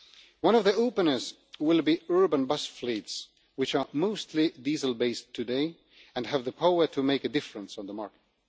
One of the openers will be urban bus fleets, which are mostly diesel based today and have the power to make a difference on the market.